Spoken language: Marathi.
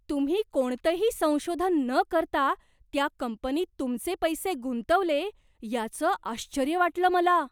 तुम्ही कोणतंही संशोधन न करता त्या कंपनीत तुमचे पैसे गुंतवले याचं आश्चर्य वाटलं मला.